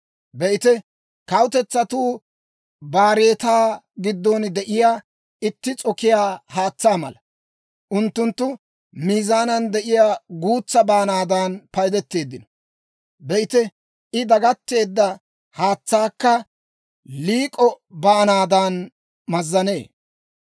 Be'ite, kawutetsatuu baareetaa giddon de'iyaa itti s'okiyaa haatsaa mala. Unttunttu miizaanan de'iyaa guutsaa baanaadan paydeteeddino. Be'ite I dagatteedda haatsaakka liik'o baanaadan mazzanee.